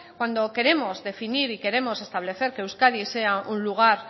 cuando queremos definir y queremos establecer que euskadi sea un lugar